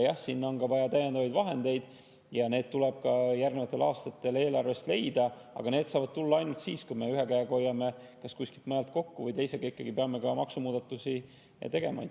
Jah, on vaja täiendavaid vahendeid ja need tuleb järgnevatel aastatel eelarvest leida, aga need saame leida ainult siis, kui me hoiame kuskilt mujalt kokku, ja ikkagi peame ka maksumuudatusi tegema.